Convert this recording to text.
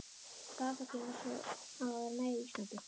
Bakþankinn var svo sá, að vera nær Íslandi.